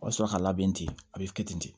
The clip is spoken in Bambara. O bɛ sɔrɔ ka labɛn ten a bɛ kɛ ten ten de